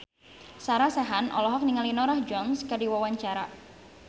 Sarah Sechan olohok ningali Norah Jones keur diwawancara